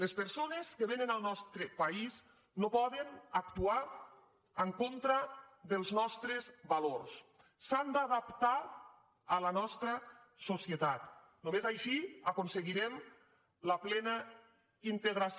les persones que vénen al nostre país no poden actuar en contra dels nostres valors s’han d’adaptar a la nostra societat només així aconseguirem la plena integració